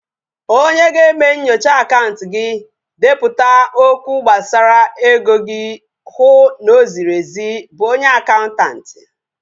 Onye ga-eme nyochaa akaụntụ gị, depụta okwụ gbasara ego iji hụ na o ziri ezi bụ onye akaụntanti